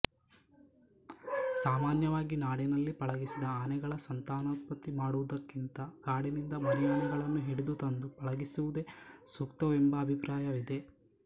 ಸಾಮಾನ್ಯವಾಗಿ ನಾಡಿನಲ್ಲಿ ಪಳಗಿಸಿದ ಆನೆಗಳ ಸಂತಾನೋತ್ಪತ್ತಿ ಮಾಡುವುದಕ್ಕಿಂತ ಕಾಡಿನಿಂದ ಮರಿಯಾನೆಗಳನ್ನು ಹಿಡಿದುತಂದು ಪಳಗಿಸುವುದೇ ಸೂಕ್ತವೆಂಬ ಅಭಿಪ್ರಾಯವಿದೆ